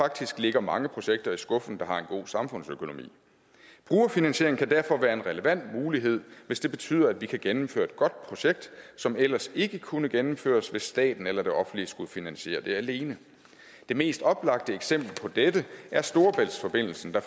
faktisk ligger mange projekter i skuffen der har en god samfundsøkonomi brugerfinansiering kan derfor være en relevant mulighed hvis det betyder at vi kan gennemføre et godt projekt som ellers ikke kunne gennemføres hvis staten eller det offentlige skulle finansiere det alene det mest oplagte eksempel på dette er storebæltsforbindelsen der